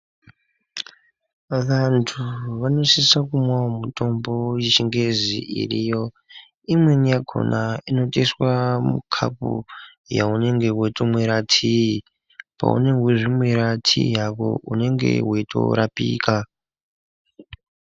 Vantu vanosisa kumwawo mutombo yechingezi iriyo imweni yakhona inotoiswa mukapu yaunenge weitomwira tiii paunenge weizvimwira tii yako unenge weitorapika.